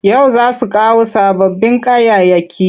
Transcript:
Yau za su kawo sababbin kayayyaki.